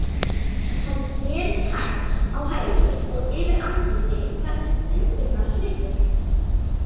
Hann snerist hægt á hæli og yfir andlitið færðist undrunarsvipur.